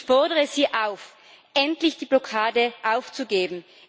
Ich fordere Sie auf, endlich die Blockade aufzugeben.